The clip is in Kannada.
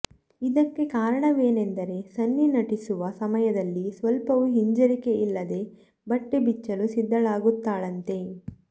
ಇದಕ್ಕೆ ಕಾರಣವೆಂದರೆ ಸನ್ನಿ ನಟಿಸುವ ಸಮಯದಲ್ಲಿ ಸ್ವಲ್ಪವೂ ಹಿಂಜರಿಕೆ ಇಲ್ಲದೇ ಬಟ್ಟೆ ಬಿಚ್ಚಲು ಸಿದ್ದಳಾಗುತ್ತಾಳಂತೆ